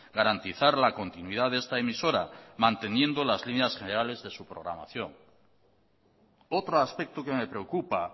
garantizar la continuidad de esta emisora manteniendo las líneas generales de su programación otro aspecto que me preocupa